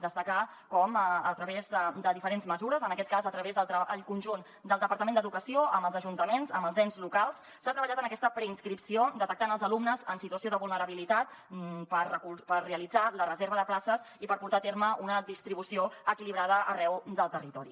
destacar com a través de diferents mesures en aquest cas a través del conjunt del departament d’educació amb els ajuntaments amb els ens locals s’ha treballat en aquesta preinscripció detectant els alumnes en situació de vulnerabilitat per realitzar la reserva de places i per portar a terme una distribució equilibrada arreu del territori